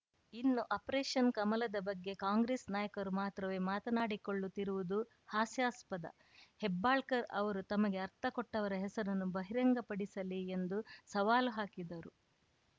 ಇನ್ನು ಆಪರೇಷನ್‌ ಕಮಲದ ಬಗ್ಗೆ ಕಾಂಗ್ರೆಸ್‌ ನಾಯಕರು ಮಾತ್ರವೇ ಮಾತನಾಡಿಕೊಳ್ಳುತ್ತಿರುವುದು ಹಾಸ್ಯಾಸ್ಪದ ಹೆಬ್ಬಾಳ್ಕರ್‌ ಅವರು ತಮಗೆ ಆರ್ಥ ಕೊಟ್ಟವರ ಹೆಸರನ್ನ ಬಹಿರಂಗ ಪಡಿಸಲಿ ಎಂದು ಸವಾಲು ಹಾಕಿದರು